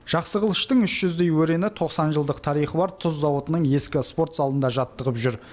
жақсықылыштың үш жүздей өрені тоқсан жылдық тарихы бар тұз зауытының ескі спорт залында жаттығып жүр